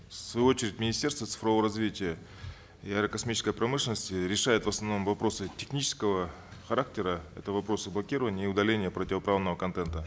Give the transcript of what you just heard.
в свою очередь министерство цифрового развития и аэрокосмической промышленности решает в основном вопросы технического характера это вопросы блокирования и удаления противоправного контента